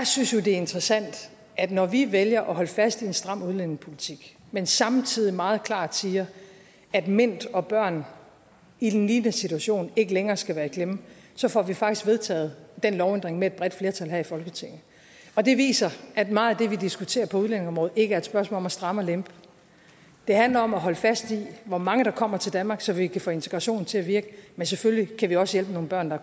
synes det er interessant at når vi vælger at holde fast i en stram udlændingepolitik men samtidig meget klart siger at mint og børn i en lignende situation ikke længere skal være i klemme så får vi faktisk vedtaget den lovændring med et bredt flertal her i folketinget det viser at meget af det vi diskuterer på udlændingeområdet ikke et spørgsmål om at stramme og lempe det handler om at holde fast i hvor mange der kommer til danmark så vi kan få integrationen til at virke men selvfølgelig kan vi også hjælpe nogle børn der